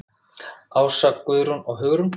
Ása, Guðrún og Hugrún.